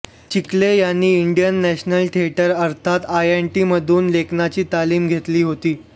चिखले यांनी Indian National Theatre अर्थात आयएनटीमधून लेखनाची तालीम घेतली होती